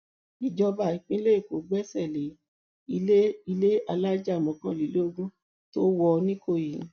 ìjọba ìpínlẹ èkó gbẹsẹ lé ilé ilé alájà mọkànlélógún tó wọ nìkòyí